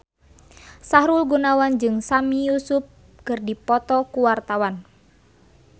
Sahrul Gunawan jeung Sami Yusuf keur dipoto ku wartawan